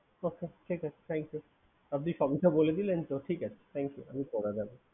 আচ্ছা ঠিক আছে আপনি সবকিছু বলে দিলেন তো ঠিক আছে Thank you